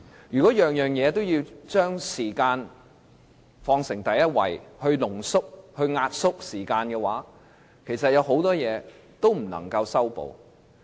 如果每件事情都要將時間放在第一位，把它濃縮及壓縮，其實會令很多事情都不能修補。